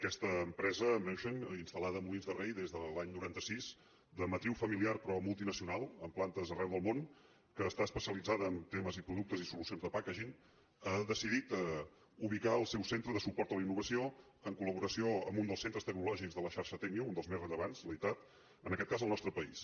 aquesta empresa menshen instal·lada a molins de rei des de l’any noranta sis de matriu famili·ar però multinacional amb plantes arreu del món que està especialitzada en temes i productes i solucions de packaging ha decidit ubicar el seu centre de suport a la innovació en col·laboració amb un dels centres tec·nològics de la xarxa tecnio un dels més rellevants leitat en aquest cas al nostre país